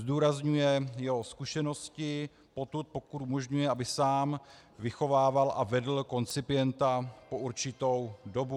Zdůrazňuje jeho zkušenosti potud, pokud umožňuje, aby sám vychovával a vedl koncipienta po určitou dobu.